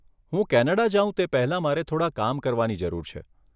હું કેનેડા જાઉં તે પહેલાં મારે થોડાં કામ કરવાની જરૂર છે.